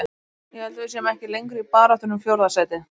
Ég held að við séum ekki lengur í baráttunni um fjórða sætið.